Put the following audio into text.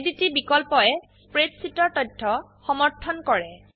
validity বিকল্পয়ে spreadsheet এৰ তথ্য সমৰ্থন কৰে